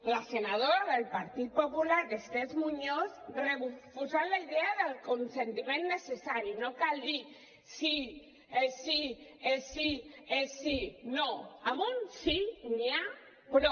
la senadora del partit popular esther muñoz refusant la idea del consentiment necessari no cal dir sí sí sí sí no amb un sí n’hi ha prou